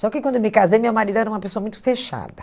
Só que quando eu me casei, meu marido era uma pessoa muito fechada.